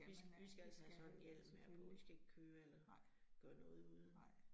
I I skal altså have sådan en hjelm her på, I skal ikke køre eller gøre noget uden